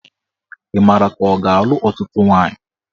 Ị mara ka ọ ga-alụ ọtụtụ nwaanyị?